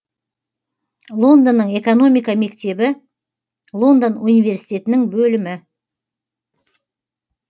лондонның экономика мектебі лондон университетінің бөлімі